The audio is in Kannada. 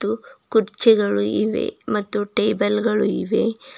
ಹಾಗು ಕುರ್ಚಿಗಳು ಇವೆ ಮತ್ತು ಟೇಬಲ್ ಗಳು ಇವೆ.